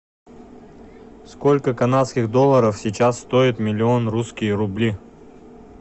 сколько канадских долларов сейчас стоит миллион русские рубли